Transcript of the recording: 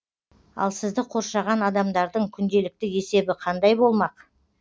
ал сізді қоршаған адамдардың күнделікті есебі қандай болмақ